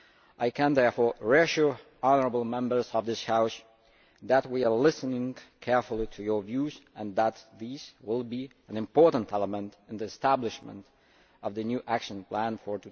I can, therefore, reassure the honourable Members of this House that we are listening carefully to your views and that these will be an important element in the establishment of the new Action Plan for